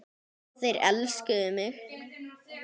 Þeir elskuðu mig.